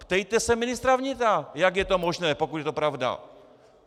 Ptejte se ministra vnitra, jak je to možné, pokud je to pravda.